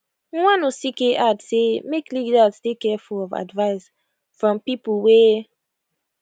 nwanosike add say make leaders dey careful of advice from pipo wey